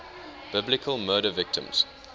biblical murder victims